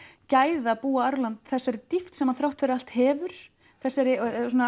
gæða búa þessa dýpt sem hann þrátt fyrir allt hefur þessari